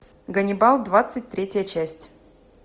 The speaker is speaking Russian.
ганнибал двадцать третья часть